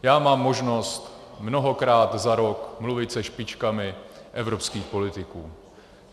Já mám možnost mnohokrát za rok mluvit se špičkami evropských politiků.